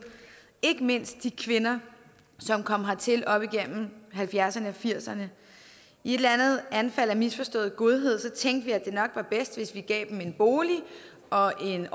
ikke mindst de kvinder som kom hertil op igennem nitten halvfjerdserne og nitten firserne i et anfald af misforstået godhed tænkte vi at det nok var bedst hvis vi gav dem en bolig og en